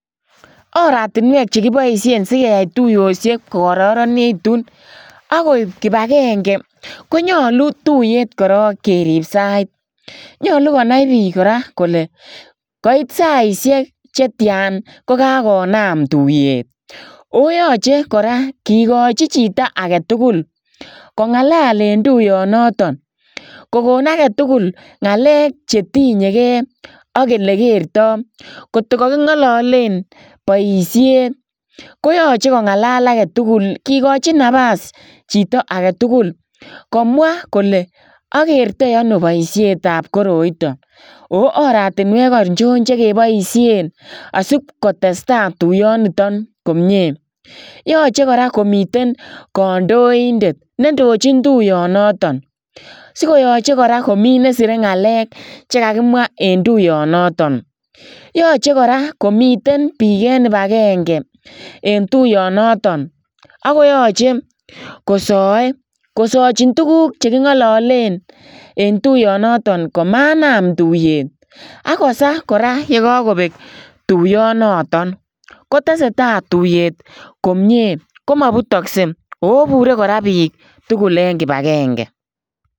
Oratinweek che kibaisheen sikeyai tuyosiek ko kororonegituun agoib kibangengei ko nyaluu tuyeet korong keriib saiit kora ko nyaluu konai biik kole kaibet saisiek chetyaan konyaluu kogonaam tuyeet koyachei kora kigachii chitoo age tuguul kongalal en tuyaan notoon kogoon age tugul ngalek che tinyei gei ak elekertai koot ko kakingalaleen baisieet koyachei kongalal age tugul komwa kole agertoi ano boisiet ab koroitaan ako oratinweek achoon che kebaisheen asiin kotestai tuyaan nitoon komyei yachei kora komiteen kandoindet ne indojiin tuyaan notoon sikoyachei komii nesirei ngalek chekakimwaah en tuyeet notoon yachei kora komiteen biik en kibangengei en tuyaan notoon ago yachei kosae kosachiin tuguuk che kingalaleen en tuyaan notoon komanam tuyeet agosaa kora yekakobeeg tuyaan notoon kotesetai tuyeet ko mabutaksei oo oibure kora biik tugul en kibangengei.